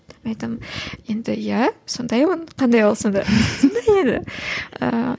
мен айтамын енді иә сондаймын қандай болсам да